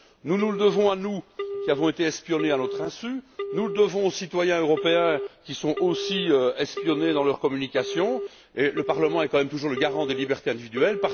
Nous nous le devons à nous mêmes, qui avons été espionnés à notre insu, nous le devons aux citoyens européens, qui sont aussi espionnés dans leurs communications et le Parlement est, quand même, toujours le garant des libertés individuelles.